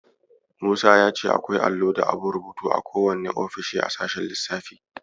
Musa ya ce akwai allo da abun rubutu a kowane ofishin a sashen lissafi.